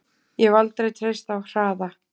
Ég hef aldrei treysta á hraða.